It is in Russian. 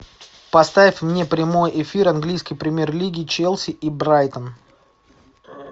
поставь мне прямой эфир английской премьер лиги челси и брайтон